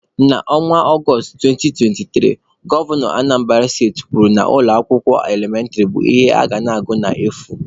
Na Ọnwa Ọgọstụ 2023, Gọvanọ Anambara steti kwuru na ụlọ akwụkwọ elementịrị bụ ihe a ga na-agụ n'efu.